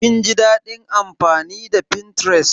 Kin ji daɗin amfani da Pinterest?